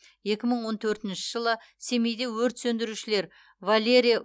екі мың он төртінші жылы семейде өрт сөндірушілер валерий